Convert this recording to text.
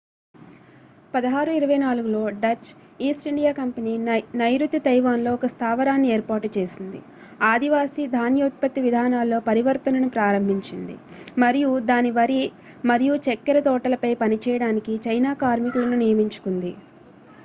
1624లో Dutch East India Company నైరుతి Taiwan లో ఒక స్థావరాన్ని ఏర్పాటు చేసింది ఆదివాసీ ధాన్య ఉత్పత్తి విధానాల్లో పరివర్తనను ప్రారంభించింది మరియు దాని వరి మరియు చక్కెర తోటలపై పనిచేయడానికి చైనా కార్మికులను నియమించుకుంది